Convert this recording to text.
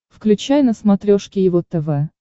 включай на смотрешке его тв